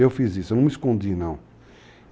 Eu fiz isso, eu não me escondi, não.